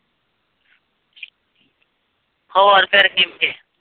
ਹੋਰ ਫੇਰ ਕਿੰਝ।